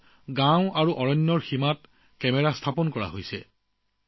তাতে গাঁও আৰু বনাঞ্চলৰ সীমাত কেমেৰা স্থাপন কৰা হয়